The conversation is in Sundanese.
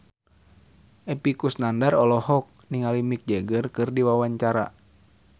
Epy Kusnandar olohok ningali Mick Jagger keur diwawancara